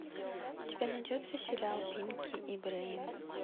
у тебя найдется сериал пинки и брейн